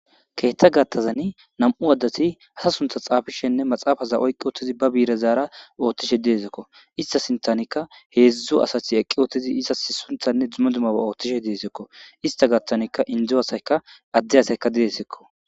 Keetta gattazani nam7u addati ha suntha xaafishenne maxaafaza oyqi ottizi ba biire zaara ooththishe deesekko ista sintanikka heedzdzu asati eqqi oottizi iza sunthanne dzuma dumaba oothtishe deesekko ista gattanikka indzo asayka adde asayka diesekko